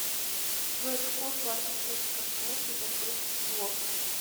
джой какую влажность нужно сохранять при разгрузке стлоса